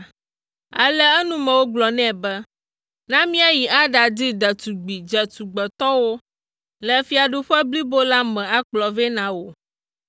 Ale eŋumewo gblɔ nɛ be, “Na míayi aɖadi ɖetugbi dzetugbetɔwo le fiaɖuƒe blibo la me akplɔ vɛ na wò.